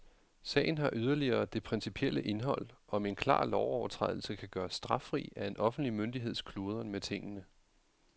Sagen har yderligere det principielle indhold, om en klar lovovertrædelse kan gøres straffri af en offentlig myndigheds kludren med tingene.